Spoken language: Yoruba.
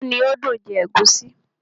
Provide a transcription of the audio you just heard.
iyán ni ó dùn jẹ ègúsí.